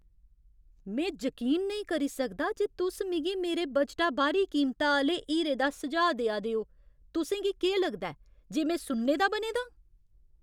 में जकीन नेईं करी सकदा जे तुस मिगी मेरे बजटा बाह्‌री कीमता आह्‌ले हीरे दा सुझाऽ देआ दे ओ! तुसें गी केह् लगदा ऐ जे में सुन्ने दा बने दां?